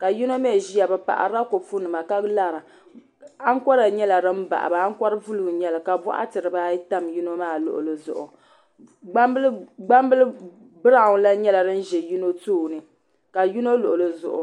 ka yino mee ʒia bɛ paɣarila kopu nima ka lara ankora nyɛla din baɣiba ankora buluu n nyɛli ka boɣati dibaayi tam bɛ luɣuli zuɣu gbambili biraw lahi nyɛla din ʒi yino tooni ka yino luɣuli zuɣu.